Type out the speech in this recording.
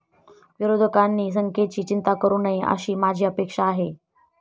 विरोधकांनी संख्येची चिंता करू नये, अशी माझी अपेक्षा आहे.